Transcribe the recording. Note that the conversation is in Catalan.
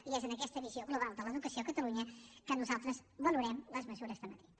i és amb aquesta visió global de l’educació a catalunya que nosaltres valorem les mesures de madrid